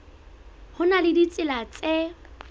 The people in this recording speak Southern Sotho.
ho na le ditsela tse